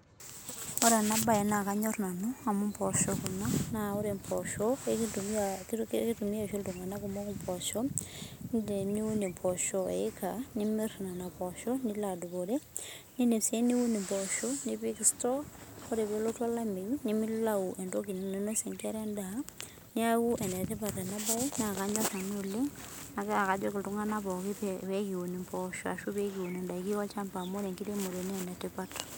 Ore ena mbae ena kanyor nanu amu mboshok na ore mboshok kitumia oshi iltung'ana kumok mboshok amu teniun mboshok eika nimir Nena poshok nilo adupore nidim sii num mboshok nipik store ore pelotu olamei nimilau entoki nainosie enkera endaa naa enetipat ena mbae naa kanyor nanu oleng naa kajoki iltung'ana pookin pee kiun mboshok ashu pee kiun endaiki olchamba amu ore enkiremore naa enetipat